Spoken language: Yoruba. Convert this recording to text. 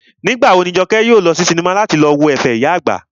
Nígbà wo ni Jọkẹ́ yóò lọ sí sinimá láti lọ wo ẹ̀fẹ̀ ìyá àgbà?